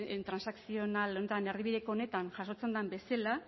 transakzional honetan erdibideko honetan jasotzen den bezala